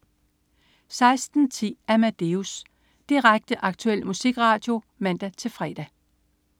16.10 Amadeus. Direkte, aktuel musikradio (man-fre)